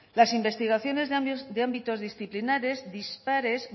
las investigaciones de ámbitos disciplinares dispares